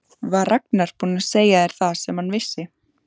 Var Ragnar búinn að segja þér það sem hann vissi?